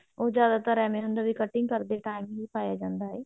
ਉਹ ਜਿਆਦਾਤਰ ਏਵੇਂ ਹੁੰਦਾ ਵੀ cutting ਕਰਦੇ time ਵੀ ਪਾਇਆ ਜਾਂਦਾ ਹੈ